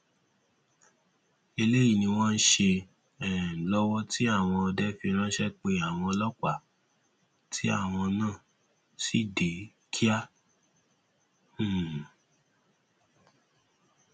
eléyìí ni wọn ń ṣe um lọwọ tí àwọn ọdẹ fi ránṣẹ pe àwọn ọlọpàá tí àwọn náà sì dé kíá um